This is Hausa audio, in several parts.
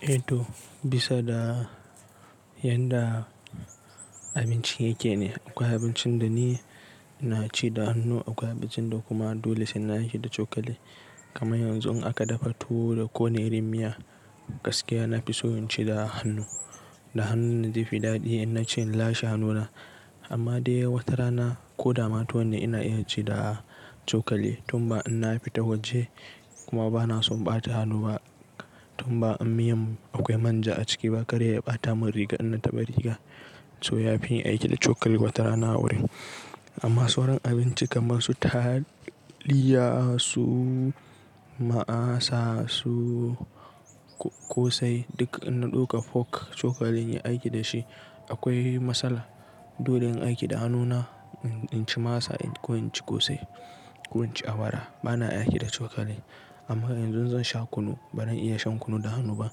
Eh to bisa da yanda abinci yake ne, akwai abincin da ni ina ci da hannu, akwai abincin da kuma dole sai na ci da cokali. Kaman yanzu in aka dafa tuwo da ƙone da miya gaskiya na fi so in ci da hannu. Da hannuna na ji fi daɗi in na ci in lashe hannuna. Amma dai wata rana ko dama tuwon ne ina iya ci da cokali tun ba in na fita waje kuma ba na son ɓata hannu ba tun ba in miyan akwai manja a ciki ba. Kar ya ɓata mun riga in na taɓa rigan so ya fi yin aiki da cokali wata rana a wurin. Amma sauran abinci kamar su taliya, su masa, su ƙosai duk in na ɗauka fok cokalin inyi aiki da shi akwai matsala. Dole in aiki da hannuna in ci masa ko in ci ƙosai ko in ci awara ba na aiki da cokali. Amma yanzu zan sha kunu ba ran iya shan kunu da hannu ba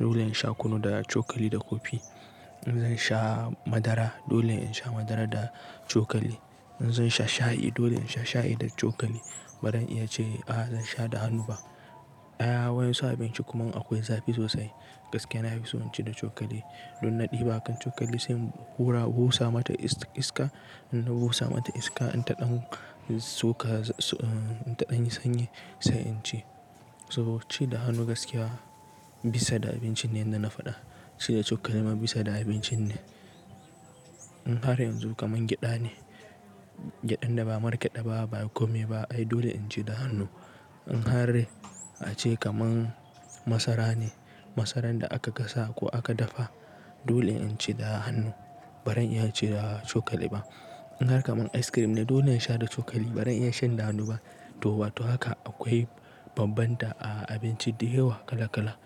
dole in sha kunu da cokali da kofi. In zan sha madara dole in sha madara da cokali. In zan sha shayi dole in sha shayi da cokali ba ran iya ce a zan sha da hannu ba. A wayensu abinci kuma in akwai zafi sosai gaskiya na fi so in ci da cokali. Don na ɗiba kan cokali sai hura busa mata iska. In na busa mata iska in ta ɗanu suka in ta an yi sanyi sai in ci. Sabo ci da hannu gaskiya bisa da abincin ne inda na faɗa ci da cokali ma bisa da abincin ne. In har yanzu kaman gyada ne, gyadan da ba market ɗaba ba kuma ba ai dole in ci da hannu. In har a ce kaman masara ne, masaran da aka gasa ko aka dafa dole in ci da hannu ba ran iya ci da cokali ba. In har kamar ice cream ne dole in sha da cokali ba ran iya shan da hannu ba. To ba to haka akwai bambanta a abinci da yawa kala kala.